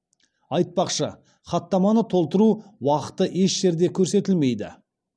айтпақшы хаттаманы толтыру уақыты еш жерде көрсетілмейді